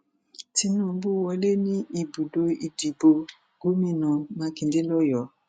tinubu wọlé ní ibùdó ìdìbò gómìnà mákindè lọyọọ